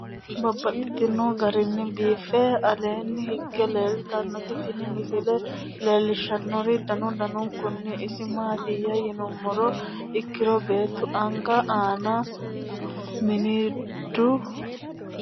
Babaxxittinno garinni biiffe aleenni hige leelittannotti tinni misile lelishshanori danu danunkunni isi maattiya yinummoha ikkiro beettu anga aanna mirindu lasiilaasi xarimusete giddo wo'me noo.